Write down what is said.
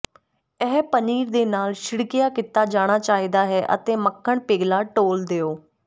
ਇਹ ਪਨੀਰ ਦੇ ਨਾਲ ਛਿੜਕਿਆ ਕੀਤਾ ਜਾਣਾ ਚਾਹੀਦਾ ਹੈ ਅਤੇ ਮੱਖਣ ਪਿਘਲਾ ਡੋਲ੍ਹ ਦਿਓ